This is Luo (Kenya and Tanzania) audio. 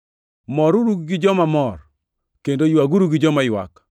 Moruru gi joma mor, kendo ywaguru gi joma ywak.